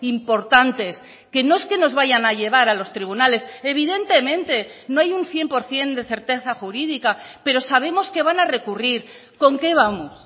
importantes que no es que nos vayan a llevar a los tribunales evidentemente no hay un cien por ciento de certeza jurídica pero sabemos que van a recurrir con qué vamos